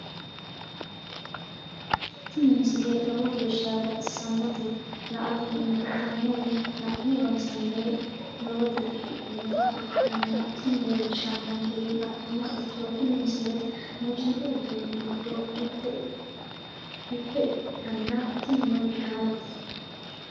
tini misile lowo geeshsha baxissannote la"ate injiitanno woy la'ne ronsannire lowote afidhinota ikkitanna tini leellishshannonkeri la'nummoha ikkiro tini misile muuziiqu uduunni giddo mitte ikkitanna tinino gitaarete.